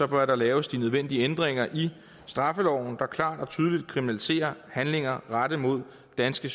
bør der laves de nødvendige ændringer i straffeloven der klart og tydeligt kriminaliserer handlinger rettet mod danske